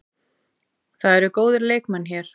Það eru góðir leikmenn hér.